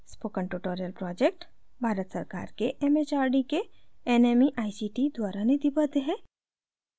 spoken tutorial project भारत सरकार के mhrd के nmeict द्वारा निधिबद्ध है